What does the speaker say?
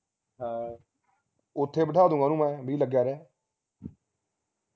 ਓਥੇ ਬੈਠਾ ਦੂਗਾ ਉਹਨੂੰ ਮੈਂ ਬਈ ਲਗਿਆ ਰਹਿ